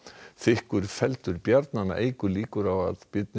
þykkur feldur eykur líkur á að